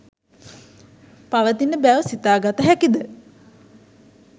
පවතින බැව් සිතාගත හැකිද?